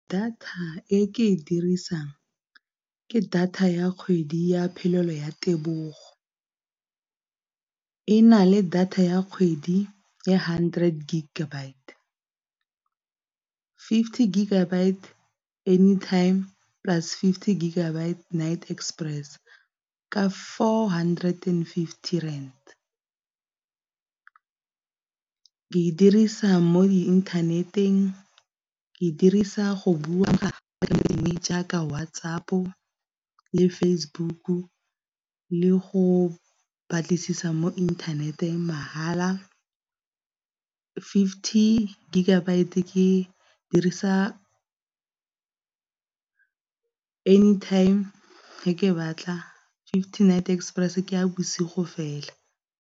Data e ke e dirisang ke data ya kgwedi ya phelelo ya tebogo, e na le data ya kgwedi ya hundred gigabyte, fifty gigabyte anytime plus fifty gigabyte night express ka four hundred and fifty rand. Ke e dirisa mo inthaneteng, ke e dirisa go bua jaaka WhatsApp-o le Facebook le go batlisisa mo inthaneteng mahala. Fifty gigabyte ke dirisa anytime fa ke batla, fifty night express ke ya bosigo fela.